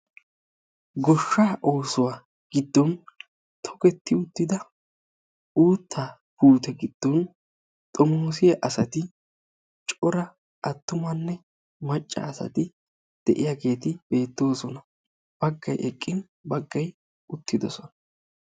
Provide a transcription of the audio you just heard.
goshshaa oossuwaa giddon tokketti uttidaba uuttaa puutte giddon xomoossiya asati cora atummanne macca asati diyaageeti beetoosona. bagay eqqin baggay utidosona.